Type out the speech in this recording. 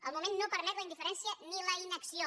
el moment no permet la indiferència ni la inacció